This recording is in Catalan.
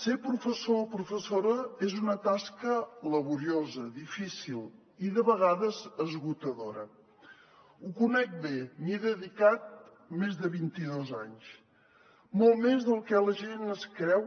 ser professor o professora és una tasca laboriosa difícil i de vegades esgotadora ho conec bé m’hi he dedicat més de vinti dos anys molt més del que la gent es creu